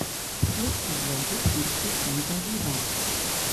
включи влоги фифти сента виво